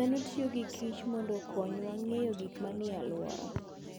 Dhano tiyo gi kich mondo okonywa ng'eyo gik manie alworawa.